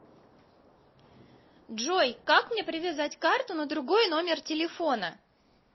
джой как мне привязать карту на другой номер телефона